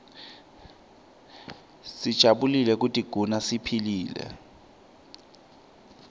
sijabulele kutiguna siphilile